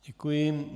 Děkuji.